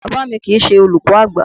Bàbá mi kìí ṣe olùkọ́ àgbà.